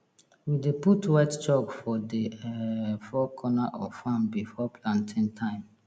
we dey put white chalk for the um four corner of farm before planting time